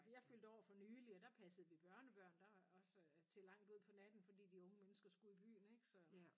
Jeg fyldte år for nylig og der passede vi børnebørn der også til langt ud på natten fordi de unge mennesker skulle i byen ik så